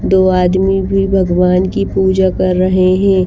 दो आदमी भी भगवान की पूजा कर रहे हैं।